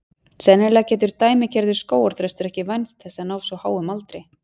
Sennilega getur dæmigerður skógarþröstur ekki vænst þess að ná svo háum aldri.